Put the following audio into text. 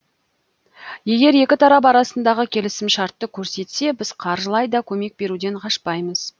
егер екі тарап арасындағы келісімшартты көрсетсе біз қаржылай да көмек беруден қашпаймыз